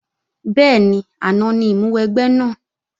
Bẹ́ẹ̀ni, àná ní ìmúwẹgbẹ́ náà